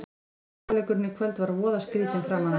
Fyrri hálfleikurinn í kvöld var voða skrýtinn framan af.